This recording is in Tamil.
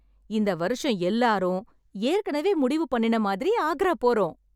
இந்த வருஷம் எல்லாரும் ஏற்கனவே முடிவு பண்ணின மாதிரி ஆக்ரா போறோம்.